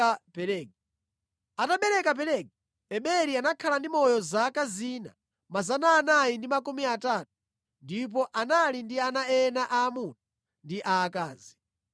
Atabereka Pelegi, Eberi anakhala ndi moyo zaka zina 430 ndipo anali ndi ana ena aamuna ndi aakazi.